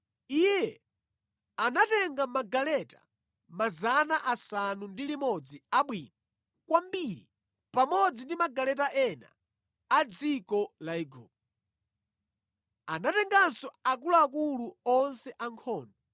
Iye anatenga magaleta 600 abwino kwambiri pamodzi ndi magaleta ena a dziko la Igupto. Anatenganso akuluakulu onse ankhondo.